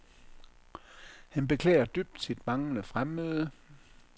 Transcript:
Han beklager dybt sit manglende fremmøde.